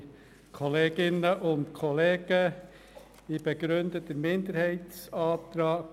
Kommissionssprecher der FiKo-Minderheit.